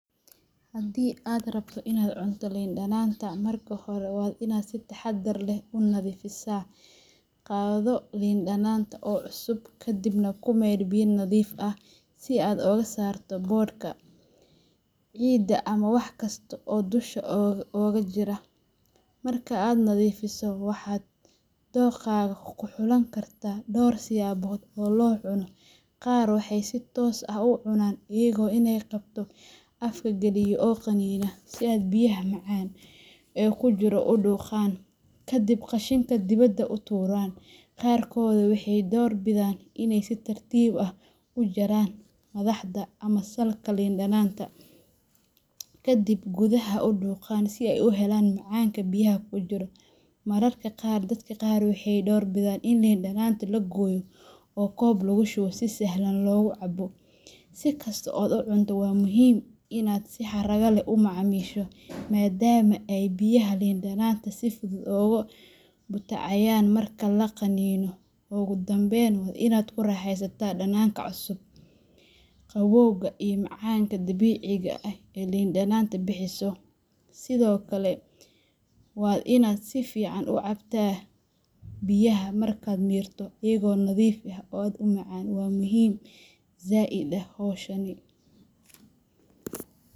Haddii aad rabto inaad cunto lin dhananta, marka hore waa inaad si taxaddar leh u nadiifisaa. Qaado lin dhananta oo cusub, kadibna ku maydh biyo nadiif ah si aad uga saarto boodhka, ciidda ama wax kasta oo dusha uga jira. Marka aad nadiifiso, waxaad dookhaaga ku xulan kartaa dhowr siyaabood oo loo cuno, qaar waxay si toos ah u cunaan, iyagoo inta ay qabto afka galiya oo qaniinaan si ay biyaha macaan ee ku jira u dhuuqaan, ka dibna qashinka dibada u tuuraan. Qaarkood waxay door bidaan inay si tartiib ah u jaraan madaxda ama salka lin dhananta, ka dibna gudaha u dhuuqaan si ay u helaan macaanka biyaha ku jira. Mararka qaarna dadka qaar waxay door bidaan in lin dhananta la gooyo oo koob lagu shubo si sahlan loogu cabo. Si kasta oo aad u cunto, waa muhiim in aad si xarrago leh u macaamisho, maadaama ay biyaha lin dhananta si fudud uga butaacayaan marka la qaniino. Ugu dambeyn, waa inaad ku raaxaysataa dhadhanka cusub, qabowga iyo macaanka dabiiciga ah ee lin dhananta bixiso. Sidokale waa inaad si fican u cabta biyaha markad mirto iyago nadif ah, oo aad u macan wa muhim zaid ah howshani.